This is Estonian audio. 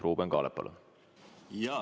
Ruuben Kaalep, palun!